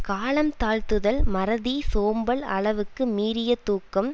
காலம் தாழ்த்துதல் மறதி சோம்பல் அளவுக்கு மீறிய தூக்கம்